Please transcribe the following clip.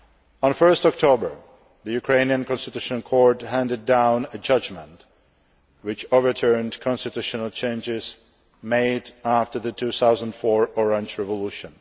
On 1 October, the Ukrainian Constitutional Court handed down a judgment which overturned constitutional changes made after the 2004 Orange Revolution.